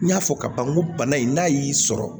N y'a fɔ ka ban n ko bana in n'a y'i sɔrɔ